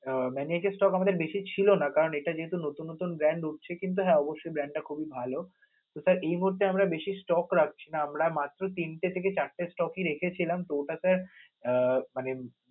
Maniac এর stock আমাদের বেশি ছিল না কারণ এটা যেহেতু নতুন নতুন brand উঠছে, কিন্তু হ্যা অবশ্যই brand টা খুবই ভালো. তো sir এই মুহূর্তে আমরা বেশি stock রাখছি না আমরা মাত্র তিনটে থেকে চার টে stock রেখেছিলাম তো ওটা আহ মানে